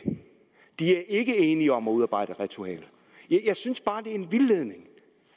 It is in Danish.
de er ikke enige om at udarbejde et ritual jeg synes bare at det er en vildledning